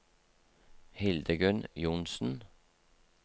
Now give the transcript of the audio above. Hildegunn Johnsen